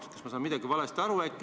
Kas ma saan äkki midagi valesti aru?